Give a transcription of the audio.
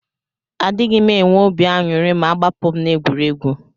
Adighim enwe obi anyuri ma agbapum na egwuregwu.